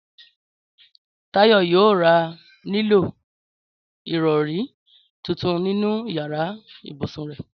Táyọ̀ yóò ra nílò ìrọ̀rí tuntun nínú yàrá ibùsùn rẹ̀